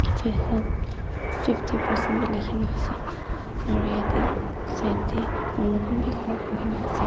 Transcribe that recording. Vhot fifty percent bi leki kena ase aro yate side te manu khan beh khara kure kena ase.